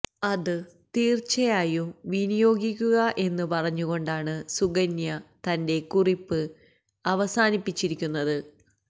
അത് തീർച്ചയായും വിനിയോഗിക്കുക എന്ന് പറഞ്ഞുകൊണ്ടാണ് സുകന്യ തന്റെ കുറിപ്പ് അവസാനിപ്പിച്ചിരിക്കുന്നത്